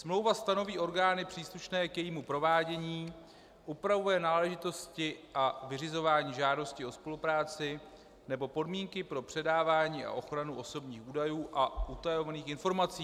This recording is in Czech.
Smlouva stanoví orgány příslušné k jejímu provádění, upravuje náležitosti a vyřizování žádosti o spolupráci nebo podmínky pro předávání a ochranu osobních údajů a utajovaných informací.